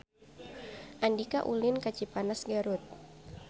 Andika ulin ka Cipanas Garut